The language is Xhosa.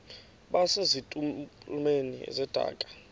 base zitulmeni zedaka